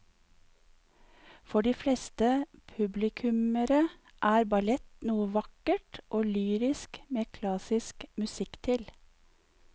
For de fleste publikummere er ballett noe vakkert og lyrisk med klassisk musikk til.